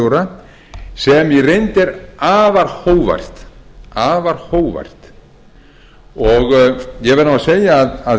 ríkisskattstjóra sem í reynd er afar hógvært ég verð nú að segja að